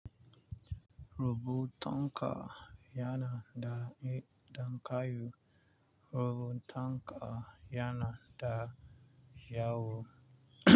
Robutunka yana da mi ɗan kayu. Robutunka yana da kyau.